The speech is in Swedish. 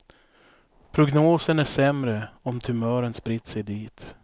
Prognosen är sämre om tumören spritt sig dit.